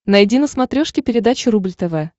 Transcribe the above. найди на смотрешке передачу рубль тв